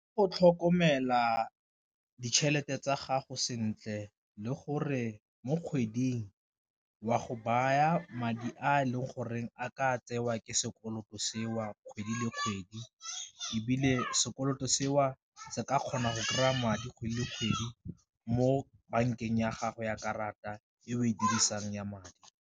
Go tlhokomela ditšhelete tsa gago sentle le gore mo kgweding o a go baya madi a e leng gore a ka tsewa ke sekoloto seo kgwedi le kgwedi, ebile sekoloto seo se ka kgona go kry-a madi kgwedi le kgwedi mo bankeng ya gago ya karata e o e dirisang ya madi.